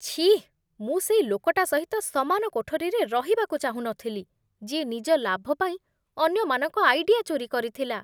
ଛିଃ, ମୁଁ ସେଇ ଲୋକଟା ସହିତ ସମାନ କୋଠରୀରେ ରହିବାକୁ ଚାହୁଁନଥିଲି ଯିଏ ନିଜ ଲାଭ ପାଇଁ ଅନ୍ୟମାନଙ୍କ ଆଇଡିଆ ଚୋରି କରିଥିଲା।